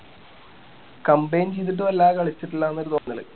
combine ചെയ്‌തിട്ടും അല്ലാ കളിച്ചിട്ടും ഇല്ലാന്നൊരു തോന്നല്